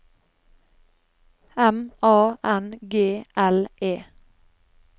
M A N G L E